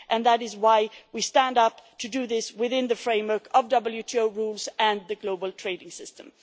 That is why we stand up to do this within the framework of WTO rules and the global trading system.